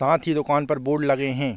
ताथ ही दुकान पर बोर्ड लगें हैं।